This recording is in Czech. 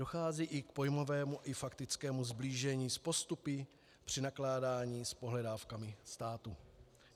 Dochází i k pojmovému i faktickému sblížení s postupy při nakládání s pohledávkami státu.